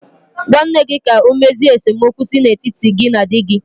Gwa nne gị ka ọ mezie esemokwu si n'etiti gị na di gị.